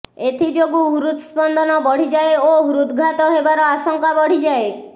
ଏଥିଯୋଗୁ ହୃତ୍ ସ୍ପନ୍ଦନ ବଢ଼ିଯାଏ ଓ ହୃଦ୍ଘାତ ହେବାର ଆଶଙ୍କା ବଢ଼ିଯାଏ